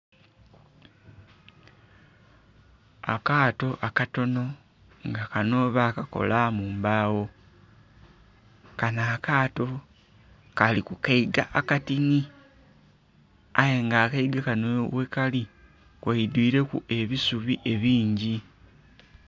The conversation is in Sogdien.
Akaato akatonho nga kanho ba kakola mu mbawo kanho akaato Kali ku kaiga akatinhi aye nga akaiga kanho ghekali ghaidhwireku ebisubi ebingi.